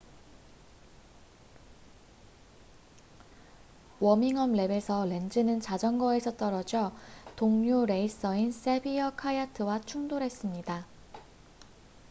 워밍업랩에서 렌즈는 자전거에서 떨어져 동료 레이서인 세비어 카야트와 충돌했습니다